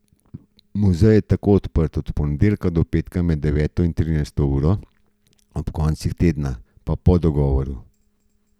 Muzej je tako odprt od ponedeljka do petka med deveto in trinajsto uro, ob koncih tedna pa po dogovoru.